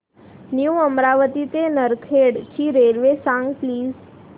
new Amravati ते नरखेड ची railway सांग प्लीज